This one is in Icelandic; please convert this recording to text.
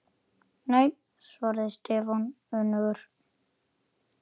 Nei svaraði Stefán önugur.